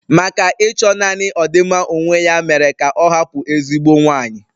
Maka Ịchọ naanị ọdịmma onwe ya mere ka ọ hapụ ezigbo nwanyị.